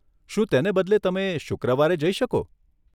શું તેને બદલે તમે શુક્રવારે જઈ શકો?